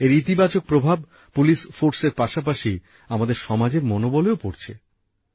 এর ইতিবাচক প্রভাব পুলিশ ফোর্সের পাশাপাশি আমাদের সমাজের মনোবলেও পড়ছে